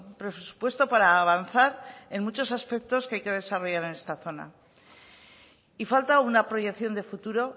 presupuesto para avanzar en muchos aspectos que hay que desarrollar en esta zona y falta una proyección de futuro